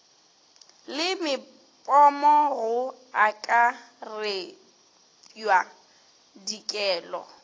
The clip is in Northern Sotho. le mepomo go akaretpwa dikelo